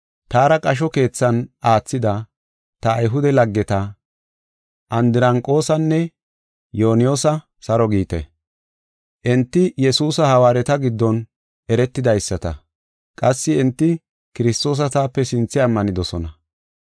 Taara qasho keethan aathida ta Ayhude laggeta Andiraniqosanne Yuniyasa saro giite. Enti Yesuusa hawaareta giddon eretidaysata. Qassi enti Kiristoosa taape sinthe ammanidosona.